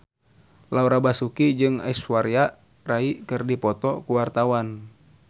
Laura Basuki jeung Aishwarya Rai keur dipoto ku wartawan